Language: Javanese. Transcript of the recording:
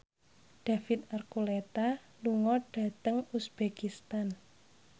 David Archuletta lunga dhateng uzbekistan